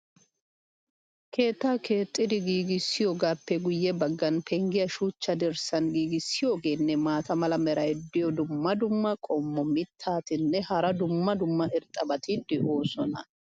keettaa keexxidi giigissoogaappe guye bagan penggiya shuchcha dirssan giigissoogeenne maata mala meray diyo dumma dumma qommo mitattinne hara dumma dumma irxxabati de'oosona.